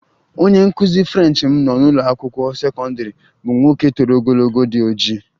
Onye nkụzi French m nọ n'ụlọ akwụkwọ sekọndrị bụ nwoke toro ogologo, di ojii